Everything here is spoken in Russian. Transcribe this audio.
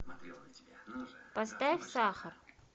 поставь сахар